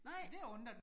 Nej